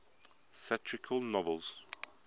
satirical novels